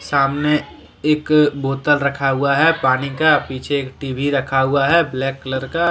सामने एक बोतल रखा हुआ है पानी का पीछे टी_वी रखा हुआ है ब्लैक कलर का।